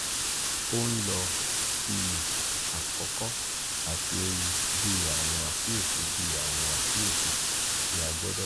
o nlo iye akoko ati eewu bi awọn akiyesi bi awọn akiyesi ti a gbodo wo.